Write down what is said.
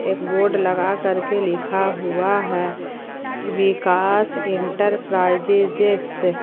एक बोर्ड लगा करके लिखा हुआ है विकास इंटरप्राइजेजेस ।